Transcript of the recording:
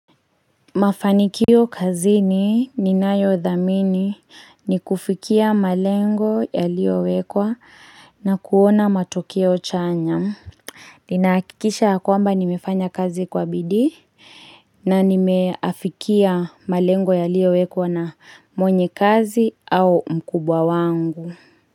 Mafanikio kazini ninayo dhamini ni kufikia malengo yaliowekwa na kuona matokeo chanya. Ninahakikisha kwamba nimefanya kazi kwa bidii na nimeafikia malengo yaliowekwa na mwenye kazi au mkubwa wangu.